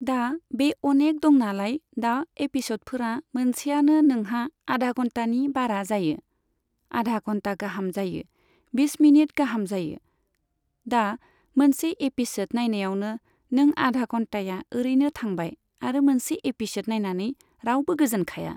दा बे अनेक दंनालाय, दा एपिसडफोरा मोनसेयानो नोंहा आधा घन्टानि बारा जायो। आधा घन्टा गाहाम जायो, बिस मिनिट गाहाम जायो। दा मोनसे एपिसड नायनायावनो नों आधा घन्टाया ओरैनो थांबाय आरो मोनसे एपिसड नायनानै रावबो गोजोनखाया।